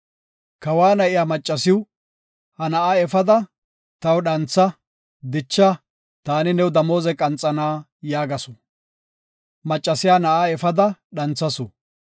Kawa na7iya maccasiw, “Ha na7aa efada, taw dhantha; dicha; taani new damooze qanxana” yaagasu. Maccasiya na7aa efada dhanthasu.